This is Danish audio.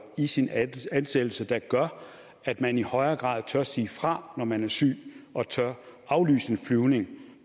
i sin ansættelse der gør at man i højere grad tør sige fra når man er syg og tør aflyse en flyvning